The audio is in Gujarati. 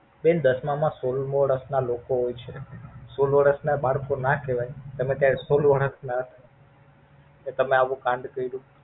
બેન દસ માં સોલ વર્ષ ના લોકો હોય છે સોલ વર્ષ ના બાલકો ના કેવાય તમે કે સોલ વર્ષ તે તમે આવું કાંડ કર્યું.